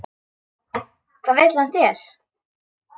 Hvað vill hann þér?